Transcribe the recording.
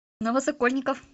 новосокольников